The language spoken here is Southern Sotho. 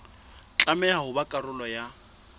tlameha ho ba karolo ya